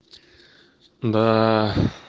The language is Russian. даа